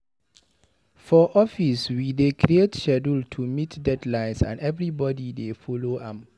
For office, we dey create schedule to meet deadlines and everybodi dey folo am.